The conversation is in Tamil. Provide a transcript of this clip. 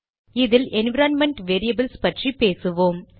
இதில் என்விரான்மென்ட் வேரியபில்ஸ் பற்றி பேசுவோம்